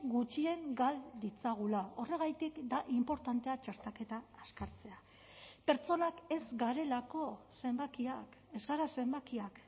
gutxien gal ditzagula horregatik da inportantea txertaketa azkartzea pertsonak ez garelako zenbakiak ez gara zenbakiak